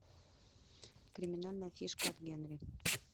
криминальная фишка от генри